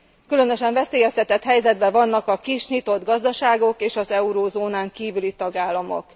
Különösen veszélyeztetett helyzetben vannak a kis, nyitott gazdaságok és az eurózónán kívüli tagállamok.